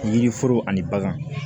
Yiriforo ani bagan